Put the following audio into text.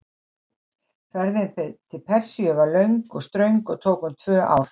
Ferðin til Persíu var löng og ströng og tók um tvö ár.